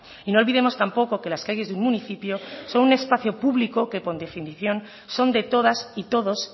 y no olvidemos tampoco que las calles de un municipio son un espacio público que por definición son de todas y todos